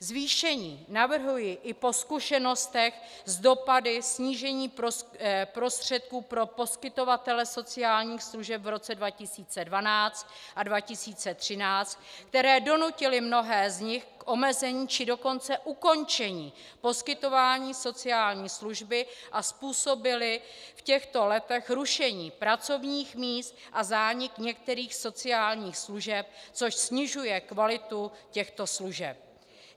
Zvýšení navrhuji i po zkušenostech s dopady snížení prostředků pro poskytovatele sociálních služeb v roce 2012 a 2013, které donutily mnohé z nich k omezení, či dokonce ukončení poskytování sociální služby a způsobily v těchto letech rušení pracovních míst a zánik některých sociálních služeb, což snižuje kvalitu těchto služeb.